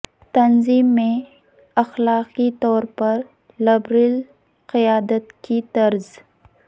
تنظیم میں اخلاقی طور پر لبرل قیادت کی طرز